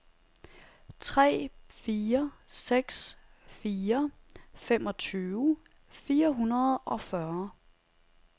tre fire seks fire femogtyve fire hundrede og fyrre